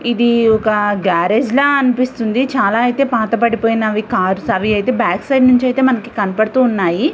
ఇది ఒక గ్యారేజ్ లా అన్పిస్తుంది చాల ఐతే పాతబడిపోయినవి కార్స్ అవిఅయితే బ్యాక్ సైడ్ నుంచైతే మనకి కనబడుతున్నాయి.